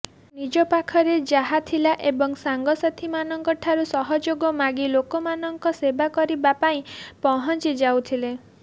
ନିଜ ପାଖରେ ଯାହାଥିଲା ଏବଂ ସାଂଗ ସାଥୀମାନଙ୍କଠାରୁ ସହଯୋଗ ମାଗି ଲୋକମାନଙ୍କ ସେବାକରିବା ପାଇଁ ପହଞ୍ଚି ଯାଉଥିଲେ